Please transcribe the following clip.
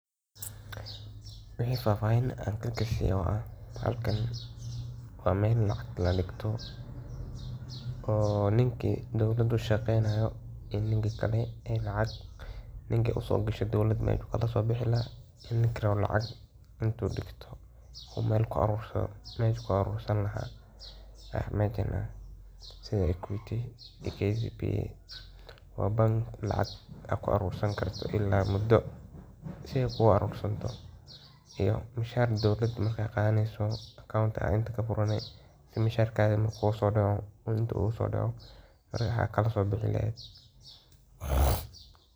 Wixi fafahinaya kagashay ah halkan wa meel lacag kadegtoh, oo ninki dowalada u shaqeynayo iyo ninkali ee lacag ninki usogashay meshi kalasobixilahay iyo ninki Kali lacag into degtoh oo meel ku arursadoh sethi equitykcb wa bank lacag ku arursaneysoh tankali ila mudu sethi kugu arursantaoh iyo meshaar dowalada marga Qathaeneysah account Aya in kafuurani meshargatha marku kusodacoh Aya kalsobixilaheet .